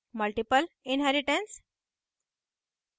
multiple inheritance